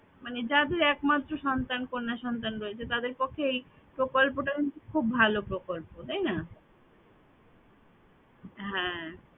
মানে যাদের একমাত্র সন্তান কন্যা সন্তান রয়েছে তাদের পক্ষে এই প্রকল্পটা খুব ভালো প্রকল্প তাই না হ্যাঁ